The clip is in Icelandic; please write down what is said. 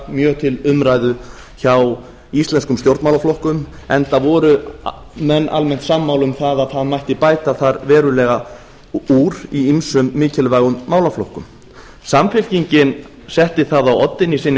mjög til umræðu hjá íslenskum stjórnmálaflokkum enda voru menn almennt sammála um það að það mætti bæta þar verulega úr í ýmsum mikilvægum málaflokkum samfylkingin setti það á oddinn í sinni